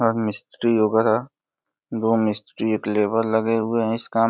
अम्म मिस्त्री-वगैरा दो मिस्त्री एक लेबर लगे हुए हैं। इस काम --